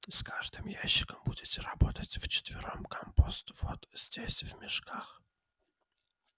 с каждым ящиком будете работать вчетвером компост вот здесь в мешках